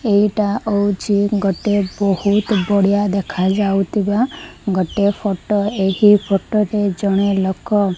ଏଇଟା ହଉଛି ଗୋଟେ ବହୁତ୍ ବଢିଆ ଦେଖାଯାଉଥିବା ଗୋଟିଏ ଫଟୋ ଏହି ଫଟୋ ରେ ଜଣେ ଲୋକ --